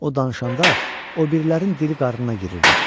O danışanda obirilərin dili qarnına girirdi.